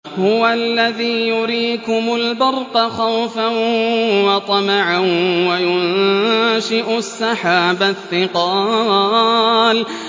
هُوَ الَّذِي يُرِيكُمُ الْبَرْقَ خَوْفًا وَطَمَعًا وَيُنشِئُ السَّحَابَ الثِّقَالَ